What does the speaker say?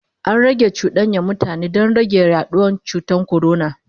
an Hana cuɗanyar mutane Dan rage yaduwan cutan corona